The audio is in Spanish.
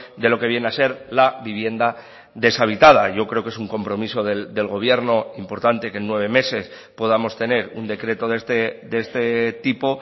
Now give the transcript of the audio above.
de lo que viene a ser la vivienda deshabitada yo creo que es un compromiso del gobierno importante que en nueve meses podamos tener un decreto de este tipo